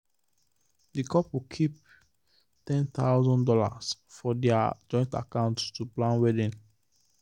the couple keep one thousand dollars0 for their joint account to plan wedding.